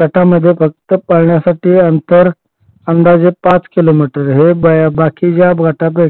गटामध्ये फक्त पळण्यासाठी अंतर अंदाजे पाच किलोमीटर हे बघ बाकीच्या गटांमध्ये